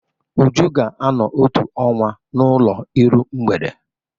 Uju ga-anọ otu ọnwa n'ụlọ iru mgbede.